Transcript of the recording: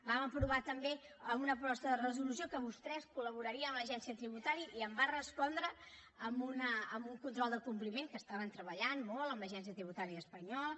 vam aprovar també en una proposta de resolució que vostès col·laborarien amb l’agència tributària i em va respondre amb un control del compliment que estaven treballant molt amb l’agència tributària espanyola